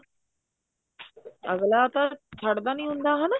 ਅਗਲਾ ਤਾਂ ਛੱਡਦਾ ਨੀ ਹੁੰਦਾ ਹਨਾ